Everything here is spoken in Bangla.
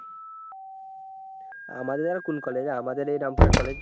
আমাদের আর কোন college আমাদের এই রামপুরহাট college